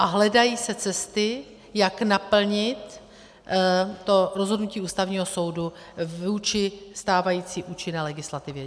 A hledají se cesty, jak naplnit to rozhodnutí Ústavního soudu vůči stávající účinné legislativě.